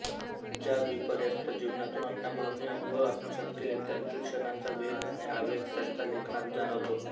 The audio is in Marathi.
ज्या विपर्यस्त जीवनातून अण्णाभाऊंनी अनुभव आत्मसात केले त्यांतील क्षणांचा वेग आणि आवेग त्यांच्या लेखनात जाणवतो